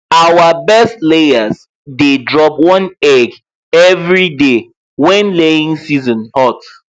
our best layers dey drop one egg every day when laying season hot